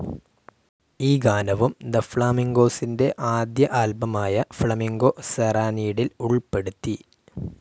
ഈ ഗാനവും തെ ഫ്ളാമിൻഗൊസിന്റെ ആദ്യ ആൽബമായ ഫ്ലാമിംഗോ സെറാനീഡിൽ ഉൾപ്പെടുത്തി.